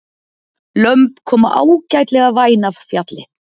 Lömb koma ágætlega væn af fjalli